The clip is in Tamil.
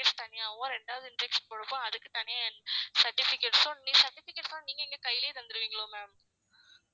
தனியாவும் ரெண்டாவது injection போடுறப்போ அதுக்கு தனியாவும் certificates உம் certificates லாம் நீங்க எங்க கைலே தந்துருவிங்களோ ma'am